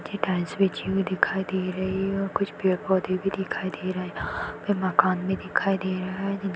नीचे टाइल्स बिछी हुई दिखाई दे रही है और कुछ पेड-पोधे भी दिखाई दे रहे है पे मकान भी दिखाई दे रहा हैजी--